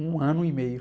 Um ano e meio.